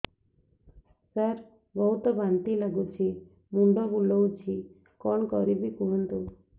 ସାର ବହୁତ ବାନ୍ତି ଲାଗୁଛି ମୁଣ୍ଡ ବୁଲୋଉଛି କଣ କରିବି କୁହନ୍ତୁ